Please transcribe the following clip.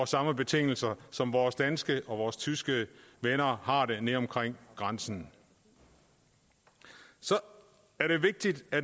samme betingelser som vores danske og tyske venner har nede omkring grænsen så er det vigtigt